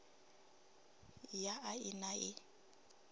ya a i na ii